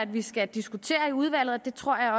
vi skal diskutere det i udvalget og det tror jeg